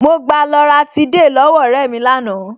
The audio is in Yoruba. Mo gba loratiday lọ́wọ́ ọ̀rẹ́ mi lánàá